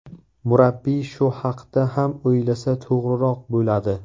Murabbiy shu haqda ham o‘ylasa to‘g‘riroq bo‘ladi.